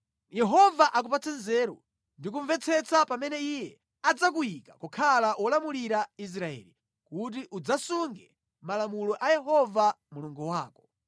Yehova akupatse nzeru ndi kumvetsetsa pamene Iye adzakuyika kukhala wolamulira Israeli, kuti udzasunge malamulo a Yehova Mulungu wako.